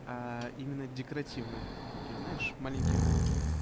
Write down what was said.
аа именно декоративных такие знаешь маленьких